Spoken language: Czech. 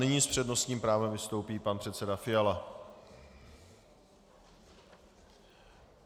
Nyní s přednostním právem vystoupí pan předseda Fiala.